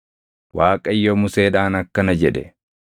Waaqayyo Museedhaan akkana jedhe;